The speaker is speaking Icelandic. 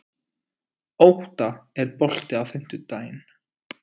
Ótta, er bolti á fimmtudaginn?